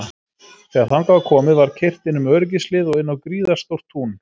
Þegar þangað var komið var keyrt inn um öryggishlið og inn á gríðarstórt tún.